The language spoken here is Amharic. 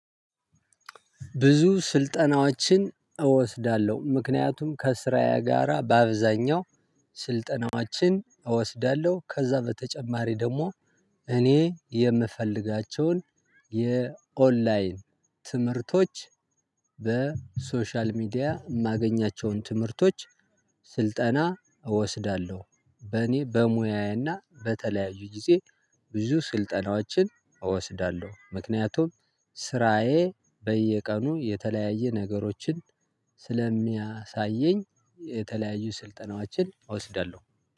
ብዙ ስልጠናዎችን እወስዳለሁ ምክንያቱም ከስራዬ ጋራ በአብዛኛው ስልጠናዎችን እወስዳለሁ ከዛ በተጨማሪ ደግሞ እኔ የምፈልጋቸውን የኦንላይን ትምህርቶች በሶሻል ሚዲያ የማገኛቸውን ትምህርቶች ስልጠና እወስዳለሁ። በእኔ በሙያዬና በተለያዩ ጊዜ ብዙ ስልጠናዎችን እወስዳለሁ። ምክንያቱም ስራዬ በየቀኑ የተለያየ ነገሮችን ስለሚያሳየኝ የተለያዩ ስልጠናዎችን እወስዳለሁ